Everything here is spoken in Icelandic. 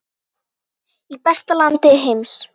Í besta landi heims.